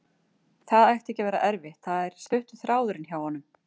Það ætti ekki að vera erfitt, það er stuttur þráðurinn hjá honum.